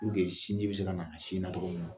sin ji be se kana a sin na togo min na.